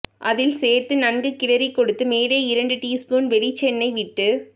அதில் சேர்த்து நன்கு கிளறிக்கொடுத்து மேலே இரண்டு டீஸ்பூன் வெளிச்செண்ணெய் விட்டு